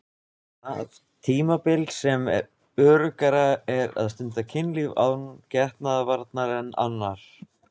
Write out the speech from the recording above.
Það tímabil sem öruggara er að stunda kynlíf án getnaðarvarna en annarr.